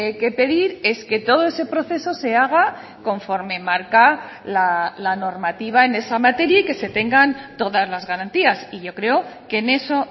que pedir es que todo ese proceso se haga conforme marca la normativa en esa materia y que se tengan todas las garantías y yo creo que en eso